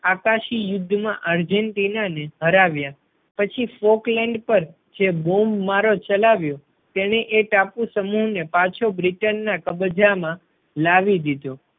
આકાશી યુદ્ધ માં Argentina ને હરાવ્યા. પછી folkland પર જે બોમ્બ મારો ચલાવ્યો તેણે એ ટાપુ સમૂહ ને પાછો બ્રિટન ના કબજામાં લાવી દીધો.